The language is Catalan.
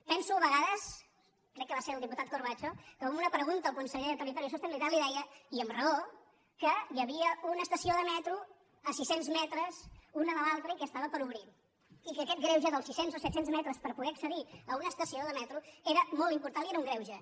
penso a vegades crec que va ser el diputat corbacho que amb una pregunta al conseller de territori i sostenibilitat li deia i amb raó que hi havia una estació de metro a sis cents metres una de l’altra i que estava per obrir i que aquest greuge dels sis cents o set cents metres per poder accedir a una estació de metro era molt important i era un greuge